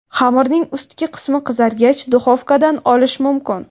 Xamirning ustki qismi qizargach, duxovkadan olish mumkin.